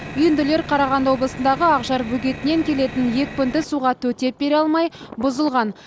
үйінділер қарағанды облысындағы ақжар бөгетінен келетін екпінді суға төтеп бере алмай бұзылған